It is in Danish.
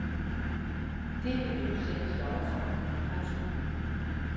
Det vil vi nu sætte en stopper for. punktum